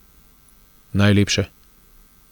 Najlepše.